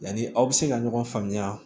Yanni aw bɛ se ka ɲɔgɔn faamuya